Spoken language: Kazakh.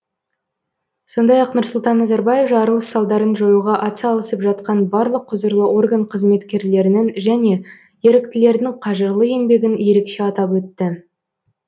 сондай ақ нұрсұлтан назарбаев жарылыс салдарын жоюға атсалысып жатқан барлық құзырлы орган қызметкерлерінің және еріктілердің қажырлы еңбегін ерекше атап өтті